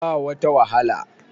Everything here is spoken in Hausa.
ba wata wahala